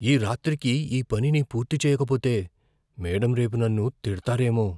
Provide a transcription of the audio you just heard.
ఈ రాత్రికి ఈ పనిని పూర్తి చేయకపోతే, మేడమ్ రేపు నన్ను తిడతారేమో.